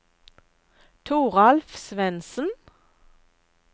Toralf Svensen